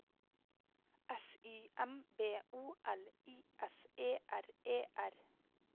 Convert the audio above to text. S Y M B O L I S E R E R